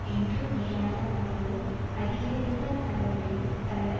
என்றுமிராத அளவு அதிகரித்த அளவில் பலர்